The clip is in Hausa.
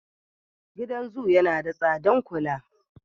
Gidan zo yana da tsadan kula.